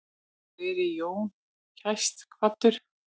Veri Jón kært kvaddur.